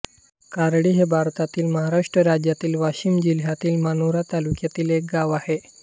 कारळी हे भारतातील महाराष्ट्र राज्यातील वाशिम जिल्ह्यातील मानोरा तालुक्यातील एक गाव आहे